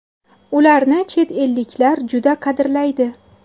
Ularni chet elliklar juda qadrlaydi.